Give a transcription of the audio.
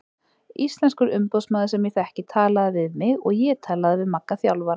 Íslenskur umboðsmaður sem ég þekki talaði við mig og ég talaði við Magga þjálfara.